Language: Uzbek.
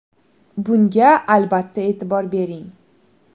Bunga albatta e’tibor bering.